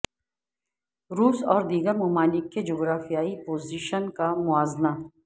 روس اور دیگر ممالک کے جغرافیائی پوزیشن کا موازنہ